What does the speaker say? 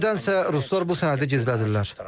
Nədənsə ruslar bu sənədi gizlədirlər.